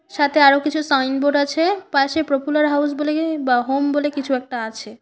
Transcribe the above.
সাথে আরো কিছু সাইনবোর্ড আছে পাশে প্রপুলার হাউস বলে বা হোম বলে কিছু একটা আছে।